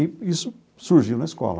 E isso surgiu na escola.